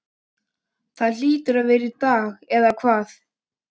Það hlýtur að vera í lagi, eða hvað?